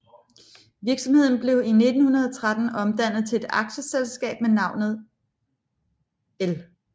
Virksomheden blev i 1913 omdannet til et aktieselskab med navnet L